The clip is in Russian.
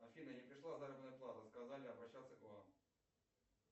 афина не пришла заработная плата сказали обращаться к вам